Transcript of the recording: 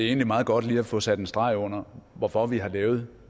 er meget godt lige at få sat en streg under hvorfor vi har lavet